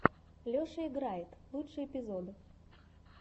леша играет лучший эпизод